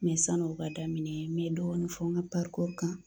Mɛ san'u ka daminɛ n mɛ dɔɔni fɔ n ka kan.